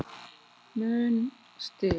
mun stig